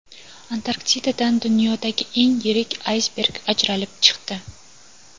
Antarktidadan dunyodagi eng yirik aysberg ajralib chiqdi.